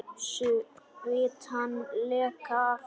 Svitann leka af enni þínu.